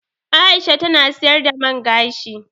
Aisha ta na siyar da man gashi